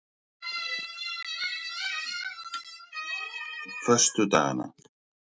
föstudagana